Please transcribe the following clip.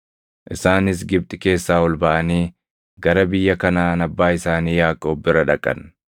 Isaanis Gibxi keessaa ol baʼanii gara biyya Kanaʼaan abbaa isaanii Yaaqoob bira dhaqan.